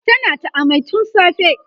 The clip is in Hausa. tana ta amai tun safe